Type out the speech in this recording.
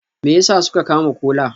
Me yasa suka kama Kola?